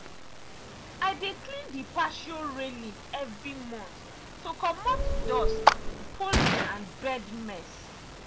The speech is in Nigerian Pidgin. i dey clean the patio railing every month to comot dust pollen and bird mess.